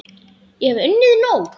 Ég hef unnið nóg!